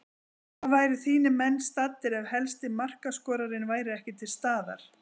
Hvar væru þínir menn staddir ef helsti markaskorarinn væri ekki til staðar?